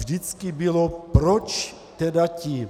Vždycky bylo, proč tedy ti